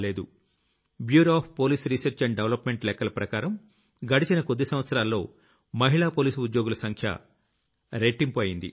bureau of police research and development లెక్కల ప్రకారం గడచిన కొద్ది సంవత్సరాల్లో మహిళా పోలీసు ఉద్యోగుల సంఖ్య రెట్టింపు అయ్యింది